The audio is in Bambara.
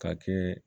Ka kɛ